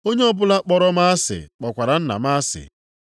Onye ọbụla kpọrọ m asị kpọkwara Nna m asị.